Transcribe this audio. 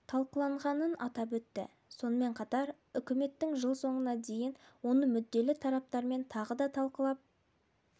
талқыланғанын атап өтті сонымен қатар үкіметтің жыл соңына дейін оны мүдделі тараптармен тағы да талқылап